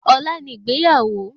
Ọlá ni ìgbéyàwó